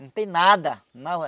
Não tem nada, não.